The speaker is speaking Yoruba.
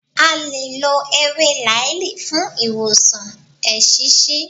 À lè lọ ewé làáàlì fún ìwòsàn eṣiṣi.